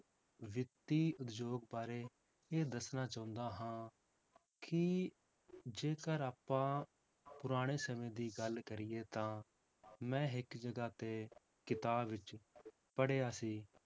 ਵਿੱਤੀ ਉਦਯੋਗ ਬਾਰੇ ਇਹ ਦੱਸਣਾ ਚਾਹੁੰਦਾ ਹਾਂ ਕਿ ਜੇਕਰ ਆਪਾਂ ਪੁਰਾਣੇ ਸਮੇਂ ਦੀ ਗੱਲ ਕਰੀਏ ਤਾਂ ਮੈਂ ਇੱਕ ਜਗ੍ਹਾ ਤੇ ਕਿਤਾਬ ਵਿੱਚ ਪੜ੍ਹਿਆ ਸੀ